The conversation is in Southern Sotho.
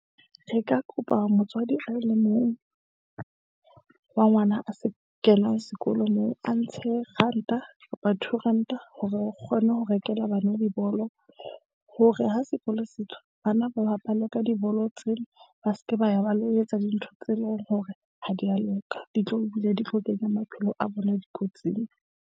Re ka kopa motswadi a le mong wa ngwana a se kenang sekolo, moo a ntshe ranta kapa two ranta hore re kgone ho rekela bana dibolo hore ha sekolo se tswa. Bana ba bapale ka dibolo tsena, ba se ke ba ya ba lo etsa dintho tse leng hore ha di ya loka, di tlo ebile di tlo kenya maphelo a rona dikotsing.